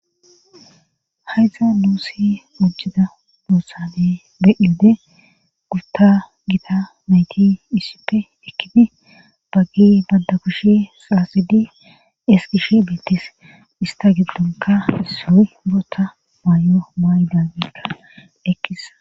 haydza nuussi ujjida buossane be ilde gurta gita nayti issippe ekkidi baggi badda kushi saasidi eskish betis ista giddonka soy boota maayo maay dabekka ekkisa